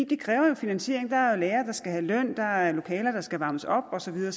det kræver jo en finansiering der er lærere der skal have løn der er lokaler der skal varmes op og så videre